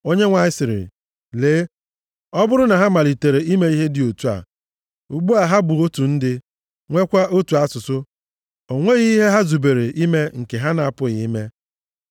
Onyenwe anyị sịrị, “Lee! Ọ bụrụ na ha malitere ime ihe dị otu a, ugbu a ha bụ otu ndị, nweekwa otu asụsụ, o nweghị ihe ha zubere ime nke ha na-apụghị ime.